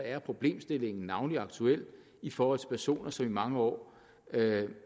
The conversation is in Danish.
er problemstillingen navnlig aktuel i forhold til personer som mange år